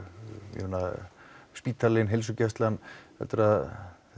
ég meina spítalinn heilsugæslan heldurðu að